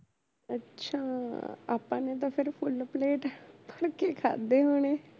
ਅੱਛਾ ਆਪਾ ਨੇ ਤਾ ਫੇਰ full plate ਭਰ ਕੇ ਖਾਧੇ ਹੋਣੇ